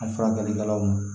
A furakɛlikɛlaw ma